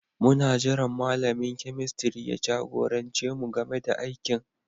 Muna jiran malamin kemistiri ya jagorance mu game da aikin